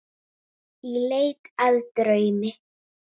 Í leit að draumi.